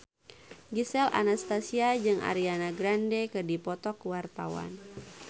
Gisel Anastasia jeung Ariana Grande keur dipoto ku wartawan